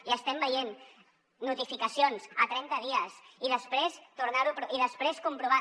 i estem veient notificacions a trenta dies i després tornarho i després comprovar